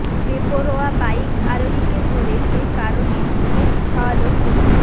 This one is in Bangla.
বেপরোয়া বাইক আরোহীকে ধরে যে কারণে কেক খাওয়ালো পুলিশ